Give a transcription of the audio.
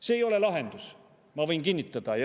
See ei ole lahendus, ma võin kinnitada.